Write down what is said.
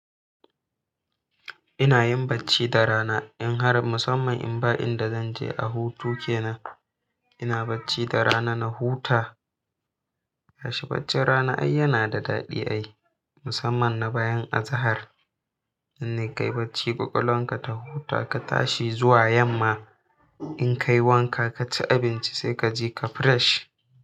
Ina yin bacci da rana in har musamman in ba inda zanje a hutu kenan. Ina bacci da rana na huta. To shi baccin rana ai yana da daɗi ai musamman na bayan azahar. Nan ne ka yi bacci ƙwaƙwalanka ta huta ka tashi zuwa yamma, in ka yi wanka ka ci abinci sai ka ji ka fresh.